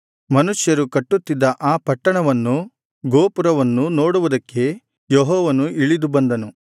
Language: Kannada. ಮನುಷ್ಯರು ಕಟ್ಟುತ್ತಿದ್ದ ಆ ಪಟ್ಟಣವನ್ನೂ ಗೋಪುರವನ್ನೂ ನೋಡುವುದಕ್ಕೆ ಯೆಹೋವನು ಇಳಿದು ಬಂದನು